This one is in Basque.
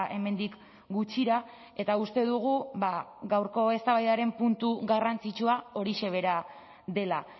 hemendik gutxira eta uste dugu gaurko eztabaidaren puntu garrantzitsua horixe bera dela